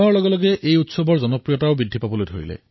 সময়ৰ সৈতে এই আয়োজনৰ জনপ্ৰিয়তা বাঢ়ি গল